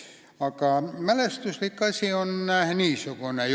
Aga mälestuslik jutt on niisugune.